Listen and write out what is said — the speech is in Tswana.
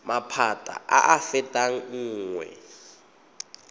maphata a a fetang nngwe